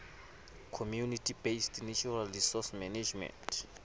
community based natural resource management